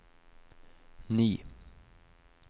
ni